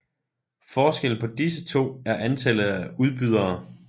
Forskellen på disse to er antallet af udbydere